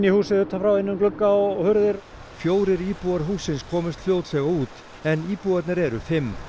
húsið utanfrá inn um glugga og hurðir fjórir íbúar hússins komust fljótlega út en íbúarnir eru fimm